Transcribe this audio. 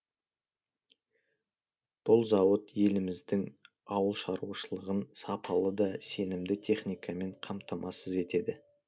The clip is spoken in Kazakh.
бұл зауыт еліміздің ауылшараушылығын сапалы да сенімді техникамен қамтамасыз етеді